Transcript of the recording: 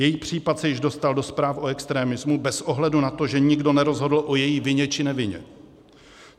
Její případ se už dostal do zpráv o extremismu bez ohledu na to, že nikdo nerozhodl o její vině, či nevině.